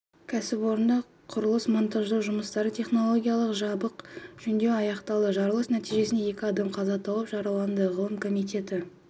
кәсіпорында құрылыс-монтаждау жұмыстары технологиялық жабық жөндеу аяқталды жарылыс нәтижесінде екі адам қаза тауып жараланды ғылым комитеті